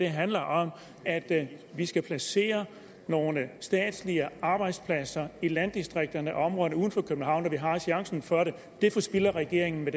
handler om at vi skal placere nogle statslige arbejdspladser i landdistrikterne og områderne uden for københavn når vi har chancen for det det forspilder regeringen med